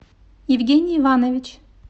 евгений иванович